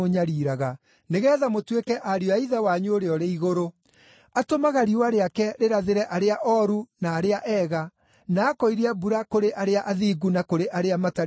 nĩgeetha mũtuĩke ariũ a Ithe wanyu ũrĩa ũrĩ igũrũ. Atũmaga riũa rĩake rĩrathĩre arĩa ooru na arĩa ega, na akoiria mbura kũrĩ arĩa athingu na kũrĩ arĩa matarĩ athingu.